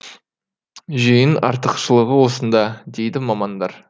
жүйенің артықшылығы осында дейді мамандар